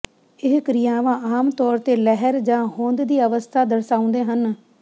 ਇਹ ਕ੍ਰਿਆਵਾਂ ਆਮ ਤੌਰ ਤੇ ਲਹਿਰ ਜਾਂ ਹੋਂਦ ਦੀ ਅਵਸਥਾ ਦਰਸਾਉਂਦੇ ਹਨ